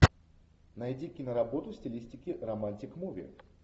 найди киноработу в стилистике романтик муви